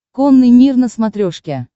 конный мир на смотрешке